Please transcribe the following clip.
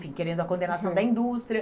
querendo a condenação da indústria.